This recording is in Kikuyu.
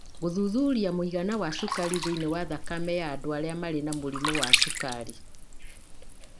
gũthuthuria mũigana wa cukari thĩinĩ wa thakame ya andũ arĩa marĩ na mũrimũ wa cukari,